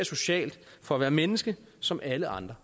socialt og for at være menneske som alle andre